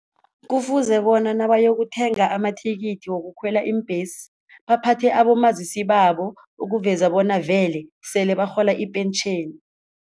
Kufuze bona nabaya yokuthenga amathikithi wokukhwela iimbhesi, baphathe abomazisi babo ukuveza bona vele sele barhola ipentjheni.